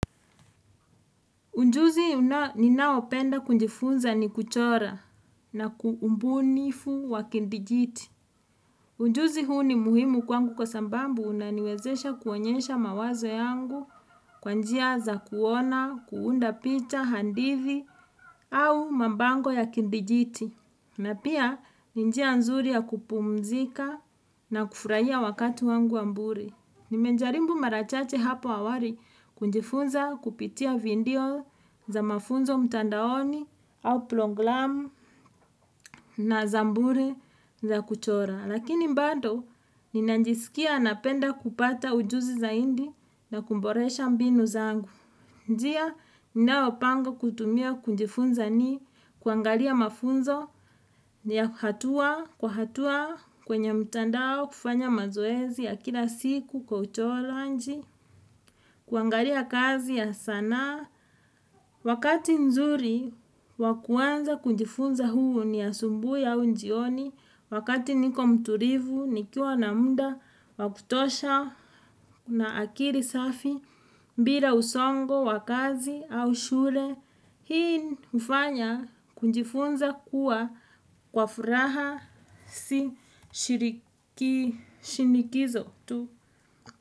Unjuzi ninaopenda kunjifunza ni kuchora na kuumbunifu wa kindijiti. Unjuzi huu ni muhimu kwangu kwa sambambu unaniwezesha kuonyesha mawazo yangu kwa njia za kuona, kuunda picha, handithi au mambango ya kindijiti. Na pia ni njia nzuri ya kupumzika na kufurahia wakati wangu wa mbure. Nime njarimbu mara chache hapo awari kunjifunza kupitia vindio za mafunzo mtandaoni au plonglamu na za mbure za kuchora. Lakini mbado, ninanjisikia napenda kupata ujuzi zaindi na kumboresha mbinu zangu. Njia ninao pango kutumia kunjifunza ni kuangalia mafunzo ni ya hatua kwa hatua kwenye mtandao kufanya mazoezi ya kila siku kwa utoroanji, kuangalia kazi ya sanaa. Wakati nzuri wakuanza kunjifunza huu ni asumbui au jioni wakati niko mturivu nikiwa na munda wakutosha na akiri safi, mbira usongo wakazi au shule, hii hufanya kunjifunza kuwa kwa furaha si shiriki shinikizo tu.